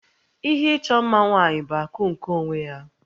Ihe ịchọ mma nwaanyị bụ akụ nke onwe ya